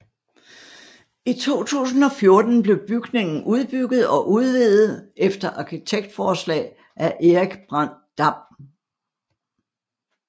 I 2014 blev bygningen udbygget og udvidet efter arkitektforslag af Erik Brandt Dam